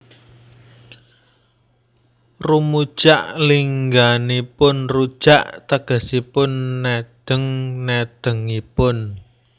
Rumujak lingganipun rujak tegesipun nedheng nedhengipun